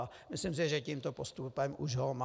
A myslím si, že tímto postupem už ho má.